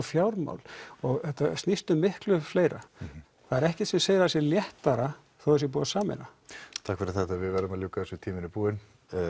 fjármál og þetta snýst um miklu fleira það er ekkert sem segir að það sé léttar þó það sé búið að sameina takk fyrir þetta við verðum að ljúka þessu tíminn er búinn